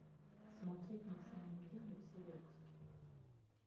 смотреть на самом деле все выпуски